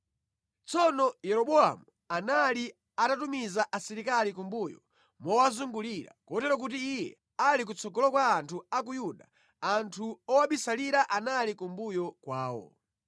Tsono Yeroboamu anali atatumiza asilikali kumbuyo mowazungulira, kotero kuti iye ali kutsogolo kwa anthu a ku Yuda, anthu owabisalira anali kumbuyo kwawo.